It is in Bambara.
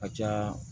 Ka ca